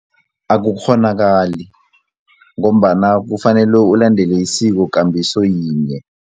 Akukghonakali ngombana kufanele ulandele isikokambiso yinye.